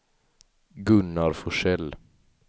Gunnar Forsell